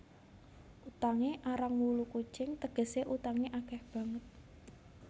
Utangé arang wulu kucing tegesé utangé akeh banget